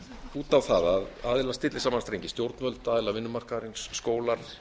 út á það að aðilar stilli saman strengi stjórnvöld aðilar vinnumarkaðarins skólar